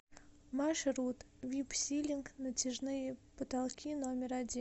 маршрут випсилинг натяжные потолки номер один